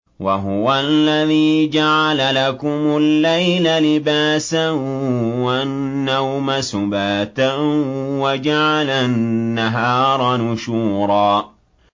وَهُوَ الَّذِي جَعَلَ لَكُمُ اللَّيْلَ لِبَاسًا وَالنَّوْمَ سُبَاتًا وَجَعَلَ النَّهَارَ نُشُورًا